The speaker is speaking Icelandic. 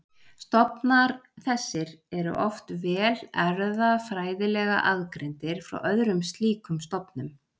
Stofnar þessir eru oft vel erfðafræðilega aðgreindir frá öðrum slíkum stofnum.